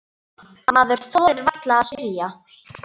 Maður þorir varla að spyrja.